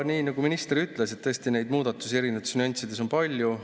Nii nagu minister ütles, neid muudatusi erinevates nüanssides on tõesti palju.